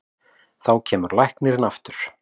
Þá kemur læknirinn aftur.